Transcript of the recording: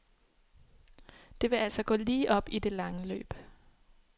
Det vil altså gå lige op i det lange løb.